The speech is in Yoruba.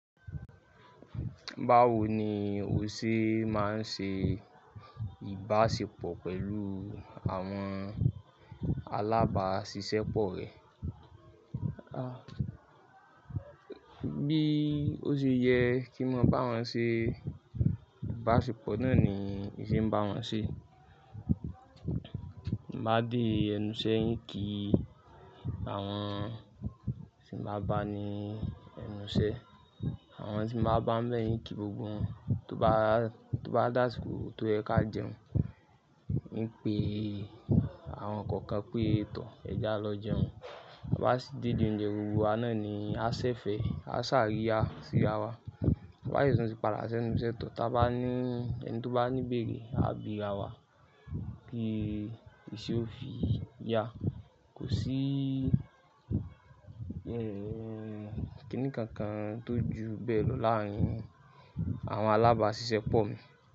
Báwo ni o ṣe máa ń ṣe ìbáṣepọ̀ pẹ̀lú àwọn alábáṣiṣẹ́ pọ̀ rẹ? Bí ó ṣe yẹ kí n mọ bá wọn ṣe ìbáṣepọ̀ náà ni ì se ń bá wọn ṣe. Ti n ba de ẹnu isẹ́ ìn kí àwọn tí mo bá ni ẹnu sẹ, àwọn tí màá bá ń bẹ́yìn kí gbogbo wọn. Tó bá, tó bá dàsiko tó yẹ ká jẹun, ń pe àwọn kookan pé è tò ẹ jẹ́ ẹ lọ jẹun. Wá sì dédi ounjẹ gbogbo wa náà ni a ṣẹ̀fẹ̀ẹ́ ni, a ṣàríyá sí ara wa. Wá sì tún ti padà sẹ́nu isẹ́ tọ̀. Táa bá ní ẹni tó bá ní ìbéèrè a bì'ra wa pé ìṣe ó fi yá. Kò sí ẹ́ ẹ́ ẹ́ kíni kankan tó ju bẹ́ẹ̀ lọ láàárín àwọn alábáṣiṣẹ́ pọ̀ mi.